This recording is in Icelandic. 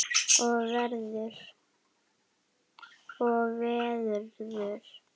Og verður.